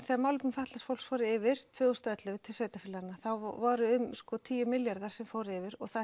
þegar málefni fatlaðs fólks fóru yfir tvö þúsund og ellefu til sveitarfélaganna þá voru tíu milljarðar sem fóru yfir og